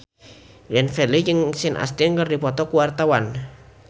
Glenn Fredly jeung Sean Astin keur dipoto ku wartawan